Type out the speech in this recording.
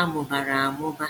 a mụbara amụba.